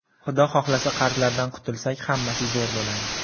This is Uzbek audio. Xudo xohlasa, qarzlardan qutulsak, hammasi zo‘r bo‘ladi.